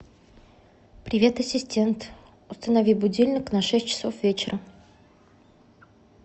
привет ассистент установи будильник на шесть часов вечера